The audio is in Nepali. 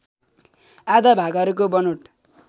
आधा भागहरूको बनोट